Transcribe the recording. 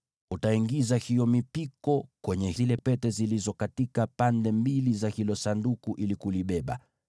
Utaiingiza hiyo mipiko kwenye zile pete katika pande mbili za Sanduku ili kulibeba.